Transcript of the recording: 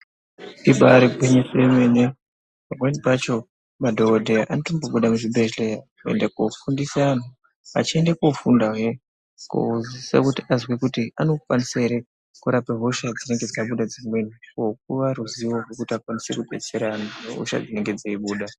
Ibari gwinyiso yemene pamweni pacho madhokodheya anotobuda muzvibhedhleya kuenda kofundisa antu achiende kofundahe kozwisisa kuti azwe kuti anokwanisa ere kurape hosha dzinenge dzabuda dzimweni kopuwa ruzivo rwekuti akwanise kudetsera antu hosha dzinenge dzeibuda.